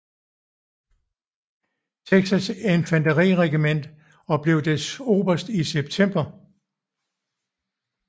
Texas infanteriregiment og blev dets oberst i september